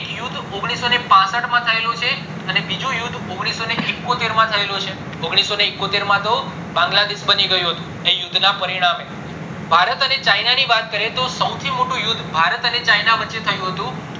એક યુદ્ધ ઓગણીસો પાસઠ માં થયેલું છે અને બીજું યુદ્ધ ઓગણીસો ને એકોતેર માં થયેલું છે ઓગણીસો ને એકોત્તેર માં તો બાંગ્લાદેશ મારી ગયું હતું એ યુદ્ધ ના પરિણામે ભારત અને ચાયના ની વાત કરીએ તો સૌથી મોટું યુદ્ધ ભારત અને ચાયના વછે થયું હતું